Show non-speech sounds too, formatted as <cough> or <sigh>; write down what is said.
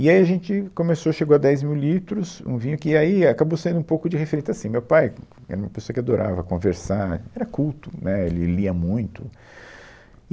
E aí a gente começou, chegou a dez mil litros, um vinho que aí acabou sendo um pouco de, <unintelligible> assim, o meu pai era uma pessoa que adorava conversar, era culto, né, ele lia muito.